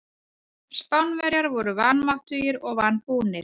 Spánverjar voru vanmáttugir og vanbúnir.